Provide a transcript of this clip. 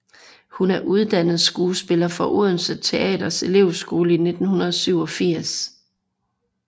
Hun er uddannet skuespiller fra Odense Teaters elevskole i 1987